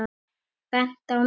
Bent á mig!